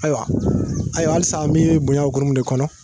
Ayiwa ayiwa halisa an bɛ bonya hukumu de kɔnɔ